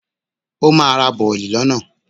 Ó ma ra bọ̀lì lọ́nà.